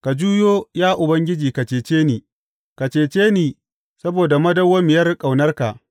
Ka juyo, ya Ubangiji, ka cece ni; ka cece ni saboda madawwamiyar ƙaunarka.